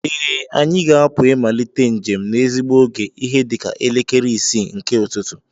Ee, anyị ga-apụ ịmalite njem n'ezigbo oge ihe dịka elekere isii nke ụtụtụ